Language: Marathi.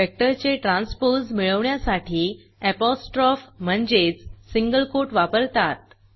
वेक्टर चे ट्रान्सपोज मिळवण्यासाठी apostropheअपोस्ट्रोफी म्हणजेच सिंगल कोट वापरतात